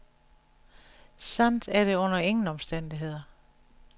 Sandt er det under ingen omstændigheder.